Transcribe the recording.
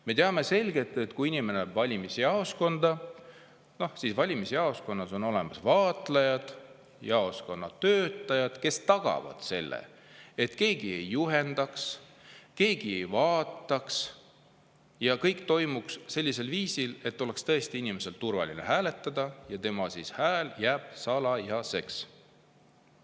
Me teame selgelt, et kui inimene läheb valimisjaoskonda, siis seal on olemas vaatlejad, jaoskonna töötajad, kes tagavad selle, et keegi ei juhendaks, keegi ei vaataks ja kõik toimuks sellisel viisil, et oleks tõesti inimesel turvaline hääletada ja tema hääl jääb salajaseks.